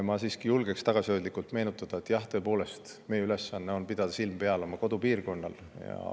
Ma siiski julgen tagasihoidlikult meenutada, et meie ülesanne on tõepoolest pidada silm peal oma kodupiirkonnal.